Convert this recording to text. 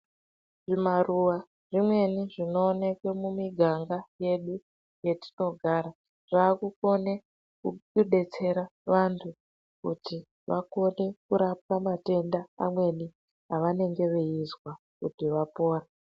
Zvimaruwa zvimweni zvinooneke mumiganga yedu yetinogara zvaakukone kudetsera vanthu kuti vakone kurapwa matenda amweni avanenge veizwa kuti vapore.